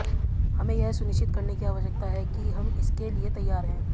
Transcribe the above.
हमें यह सुनिश्चित करने की आवश्यकता है कि हम इसके लिए तैयार हैं